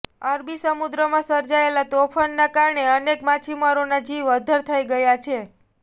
અરબી સમુદ્રમાં સર્જાયેલા તોફાનના કારણે અનેક માછીમારોના જીવ અધ્ધર થઈ ગયાં છે